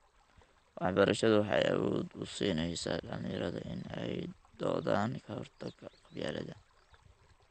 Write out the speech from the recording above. Waxbarashadu waxay awood u siinaysaa dhalinyarada inay u doodaan ka hortagga qabyaaladda.